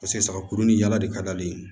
Paseke sagakurunin yɛlɛ de ka d'ale ye